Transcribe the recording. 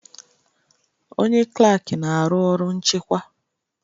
Onye klak na-arụ ọrụ nchịkwa.